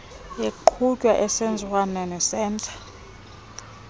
eqhutywa ngentseenziswano neseta